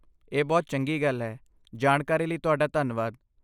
ਇਹ ਬਹੁਤ ਚੰਗੀ ਗੱਲ ਹੈ। ਜਾਣਕਾਰੀ ਲਈ ਤੁਹਾਡਾ ਧੰਨਵਾਦ।